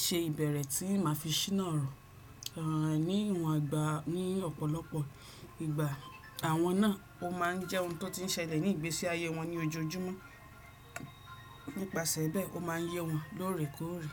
ṣe ìbẹ̀rẹ̀ tí màá fi ṣìnà ọ̀rọ̀. Ní ìwọn ìgbà ní ọ̀pọ̀lọpọ̀ ìgbà àwọn náà, ó má ń jẹ́ ohun tó ti ń ṣẹlẹ̀ ní ìgbésí ayé wọn ní ojoojúmọ́. Nípasẹ̀ bẹ́ẹ̀, ó má ń yé wọn lóòrèkóòrè.